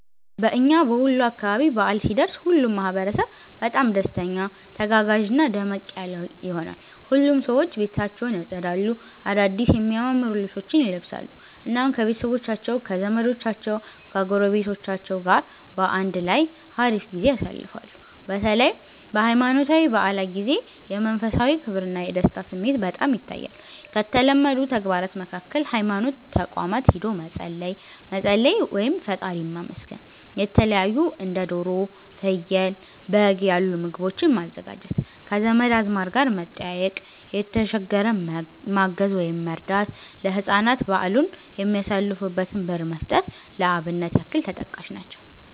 በእና በወሎ አካባቢ በዓል ሲደርስ ሁሉም ማህበረሰብ በጣም ደስተኛ፣ ተጋጋዥና ደመቅ ያለ ይሆናል። ሁሉም ሰዎች ቤታቸውን ያፀዳሉ፣ አዳድስ የሚያማምሩ ልብሶችን ይለብሳሉ፣ እናም ከቤተሰቦቻቸው ከዘመዶቻቸው ጎረቤቶች ጋር በአንድ ላይ ሀሪፍ ጊዜ ያሳልፋሉ። በተለይ በሃይማኖታዊ በዓላት ጊዜ የመንፈሳዊ ክብርና የደስታ ስሜት በጣም ይታያል። ከተለመዱ ተግባራት መካከል ሀይማኖት ተቋማት ሂዶ መፀለይ፣ መፀለይ (ፈጣሪን ማመስገን)፣የተለታዩ እንደ ዶሮ፣ ፍየል፣ በግ ያሉ ምግቦችን ማዘጋጀት፣ ከዘመድ አዝማድ ጋር መጠያየቅ፣ የተሸገረን ማገዝ(መርዳት)፣ ለህፃናት በዓሉን የሚያሳልፉበትን ብር መስጠት ለአብነት ያክል ተጠቃሽ ናቸው።